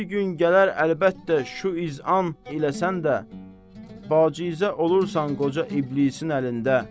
Bir gün gələr əlbəttə, şu iz'an elə sən də bacizə olursan qoca İblisin əlində.